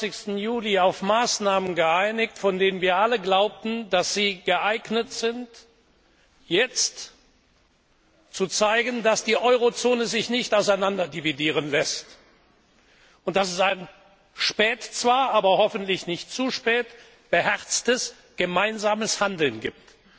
21. Juli auf Maßnahmen geeinigt, von denen wir alle glaubten, dass sie geeignet sind, jetzt zu zeigen, dass die Eurozone sich nicht auseinanderdividieren lässt, und dass es spät zwar, aber hoffentlich nicht zu spät ein beherztes gemeinsames Handeln gibt,